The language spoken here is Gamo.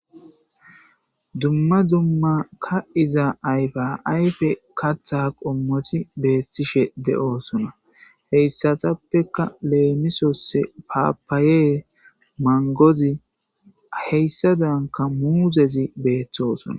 Dumma dumma ka'iza ayba ayfe katha qommoti beethtishe de7oosona heyssatappeka leemisose paapaayee mangozi heyssa danka muuzezi beeththoosona.